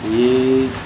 O ye